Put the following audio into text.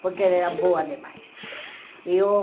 Porque ela era boa demais. Eu